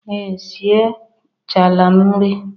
Ee sie chaala m nri.